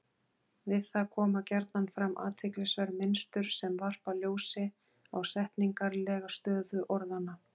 Við það koma gjarna fram athyglisverð mynstur sem varpa ljósi á setningarlega stöðu orðanna.